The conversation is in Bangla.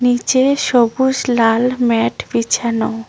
নিচে সবুজ লাল ম্যাট বিছানো।